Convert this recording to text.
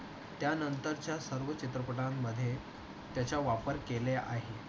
त्यानंतरच्या सर्व चित्रपटांमध्ये त्याचा वापर केला आहे.